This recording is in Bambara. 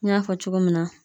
N y'a fɔ cogo min na